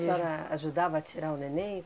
A senhora ajudava a tirar o neném?